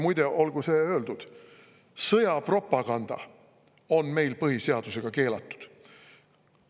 Muide, olgu öeldud: sõjapropaganda on meil põhiseadusega keelatud.